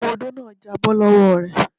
Ọmọ odó náà já bọ́ lọ́wọ́ re.